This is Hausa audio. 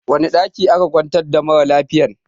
Wani ɗaki aka kwantar da mara lafiyan?